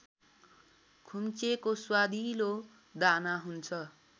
खुम्चेको स्वादिलो दाना हुन्छ